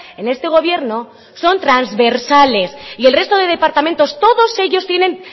en este gobierno son transversales y el resto de departamentos todos ellos tienen